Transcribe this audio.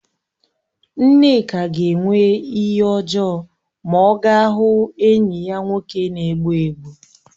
Nneka ga-enwe ihe ojoo ma o gaa hụ enyi ya nwoke na-egbu egbu